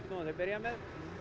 að byrja með